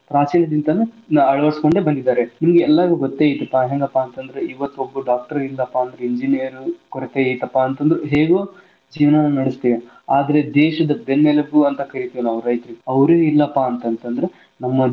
ಪ್ರಾಚೀನ ಅಳವಡಿಸಿಕೊಂಡು ಬಂದಿದಾರೆ ಇಲ್ಲಿ ಎಲ್ಲಾರ್ಗು ಗೊತ್ತ ಐತಿ ಹೆಂಗಪಾ ಅಂತಂದ್ರ ಇವತ್ತ್ ್ ಒಬ್ಬ doctor ಇಲ್ಲಪಾ ಅಂತಂದ್ರ engineer ಕೊರತೆ ಐತಿಪಾ ಅಂದ್ರು ಹೇಗೋ ಜೀವನಾ ನಡಸ್ತೇವ ಆದ್ರ ದೇಶದ ಬೆನ್ನೆಲುಬು ಅಂತ ಕರೀತೀವ ನಾವ್ ರೈತರಿಗೆ ಅವ್ರು ಇಲ್ಲಪಾ ಅಂತ ಅಂತಂದ್ರ ನಮ್ಮ ಜೀವನಾ.